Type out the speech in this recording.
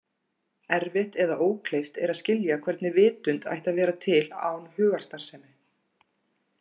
Erfitt eða ókleift er að skilja hvernig vitund ætti að vera til án hugarstarfsemi.